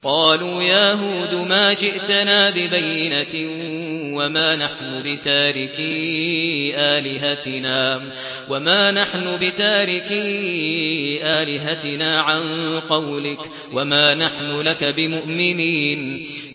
قَالُوا يَا هُودُ مَا جِئْتَنَا بِبَيِّنَةٍ وَمَا نَحْنُ بِتَارِكِي آلِهَتِنَا عَن قَوْلِكَ وَمَا نَحْنُ لَكَ بِمُؤْمِنِينَ